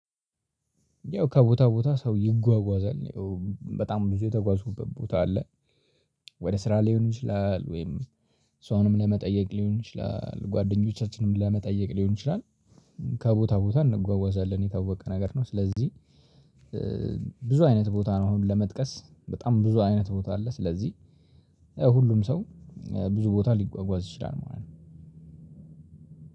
ያው ከቦታ ቦታ ሰው ይጓጓዛል በጣም ብዙ የተጓዝኩበት ቦታ አለ። ወደ ስራ ሊሆን ይችላል ወይም ሰውንም ለመጠየቅ ሊሆን ይችላል ጓደኞቻችንም ለመጠየቅ ሊሆን ይችላል። ከቦታ ቦታ እንጓጓዛለን የታወቀ ነገር ነው። ስለዚህ ብዙ አይነት ቦታ ነው አሁን ለመጥቀስ በጣም ብዙ አይነት ቦታ አለ። ስለዚህ ያው ሁሉም ሰው ብዙ ቦታ ሊጓጓዝ ይችላል። ማለት